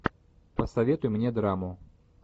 посоветуй мне драму